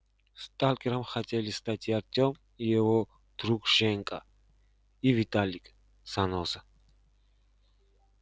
сталкером хотели стать и артём и его друг женька и виталик-заноза